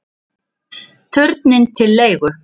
Turninn til leigu